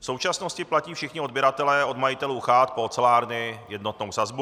V současnosti platí všichni odběratelé od majitelů chat po ocelárny jednotnou sazbu.